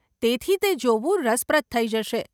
તેથી તે જોવું રસપ્રદ થઇ જશે.